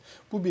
Bu birinci.